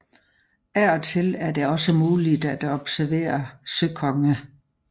Af og til er det også muligt at observere søkonge